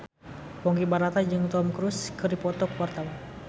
Ponky Brata jeung Tom Cruise keur dipoto ku wartawan